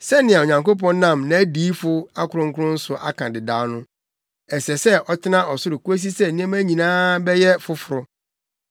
Sɛnea Onyankopɔn nam nʼadiyifo akronkron so aka dedaw no, ɛsɛ sɛ ɔtena ɔsoro kosi sɛ nneɛma nyinaa bɛyɛ foforo.